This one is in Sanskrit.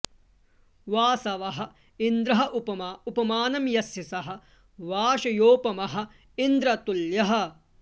वासवः इन्द्रः उपमा उपमानं यस्य सः वासयोपमः इन्दतुल्यः